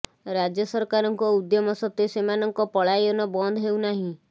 ରାଜ୍ୟ ସରକାରଙ୍କ ଉଦ୍ୟମ ସତ୍ତ୍ୱେ ସେମାନଙ୍କ ପଳାୟନ ବନ୍ଦ ହେଉନାହିଁ